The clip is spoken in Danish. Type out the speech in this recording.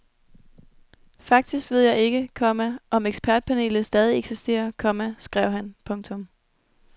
Faktisk ved jeg ikke, komma om ekspertpanelet stadig eksisterer, komma skrev han. punktum